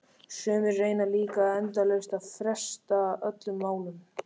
Sumir reyna líka endalaust að fresta öllum málum.